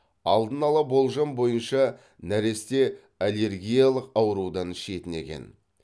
алдын ала болжам бойынша нәресте аллергиялық аурудан шетінеген